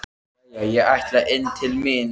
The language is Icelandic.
Jæja, ég ætla inn til mín.